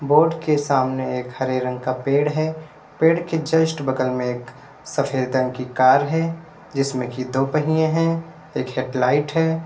Board के सामने एक हरे रंग का पेड़ है पेड़ के जस्ट बगल में एक सफेद रंग की कार है जिसमें कि दो पहिए हैं एक हेडलाइट है।